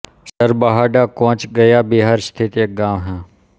सरबहाड़ा कोंच गया बिहार स्थित एक गाँव है